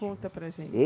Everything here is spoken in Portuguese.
Conta para a gente.